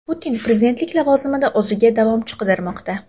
Putin prezidentlik lavozimida o‘ziga davomchi qidirmoqda.